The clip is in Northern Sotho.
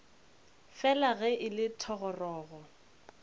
fela ge e le thogorogo